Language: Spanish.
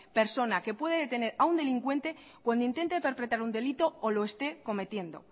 persona que puede detener a un delincuente cuando intente perpetrar un delito o lo esté cometiendo